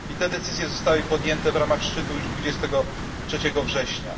I te decyzje zostały podjęte w ramach szczytu już 23 września.